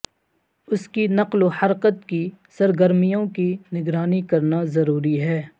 اس کی نقل و حرکت کی سرگرمیوں کی نگرانی کرنا ضروری ہے